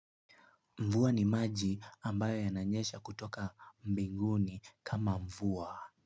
Mvua ni maji ambayo yananyesha kutoka mbinguni kama mvua.